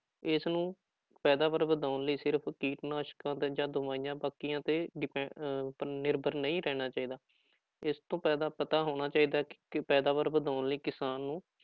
ਇਸਨੂੰ ਪੈਦਾਵਾਰ ਵਧਾਉਣ ਲਈ ਸਿਰਫ਼ ਕੀਟਨਾਸ਼ਕਾਂ ਦਾ ਜਾਂ ਦਵਾਈਆਂ ਬਾਕੀਆਂ ਤੇ ਡਿਪੈ ਅਹ ਪਰ ਨਿਰਭਰ ਨਹੀਂ ਰਹਿਣਾ ਚਾਹੀਦਾ, ਇਸ ਤੋਂ ਪੈਦਾ ਪਤਾ ਹੋਣਾ ਚਾਹੀਦਾ ਹੈ ਕਿ ਪੈਦਾਵਾਰ ਵਧਾਉਣ ਲਈ ਕਿਸਾਨ ਨੂੰ